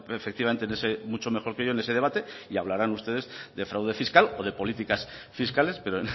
efectivamente mucho mejor que yo en este debate y hablaran ustedes de fraude fiscal o de políticas fiscales pero